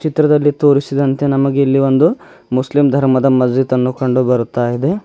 ಚಿತ್ರದಲ್ಲಿ ತೋರಿಸಿದಂತೆ ನಮಗೆ ಇಲ್ಲಿ ಒಂದು ಮುಸ್ಲಿಂ ಧರ್ಮದ ಮಸಿದ್ಅನ್ನು ಕಂಡು ಬರುತ್ತಾ ಇದೆ.